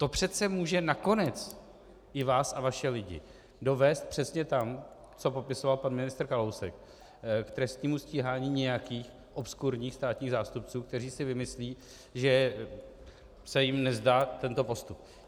To přece může nakonec i vás a vaše lidi dovést přesně tam, co popisoval pan ministr Kalousek, k trestnímu stíhání nějakých obskurních státních zástupců, kteří si vymyslí, že se jim nezdá tento postup.